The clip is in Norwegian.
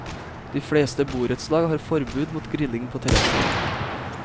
De fleste borettslag har forbud mot grilling på terrasser.